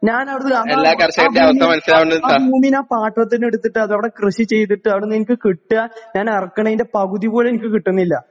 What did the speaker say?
ഞാനവിടുന്ന് ആ ആഹ് ഭൂമി ആ ഭൂമി ഞാൻ പാട്ടത്തിനെടുത്തിട്ടതവിടെ കൃഷി ചെയ്തിട്ടാണ് നിങ്ങക്ക് കിട്ട്വ ഞാനെറക്കണെൻ്റെ പകുതിപോലും നിക്ക് കിട്ടുന്നില്ല.